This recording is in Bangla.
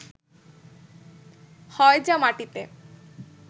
হয় যা মাটিতে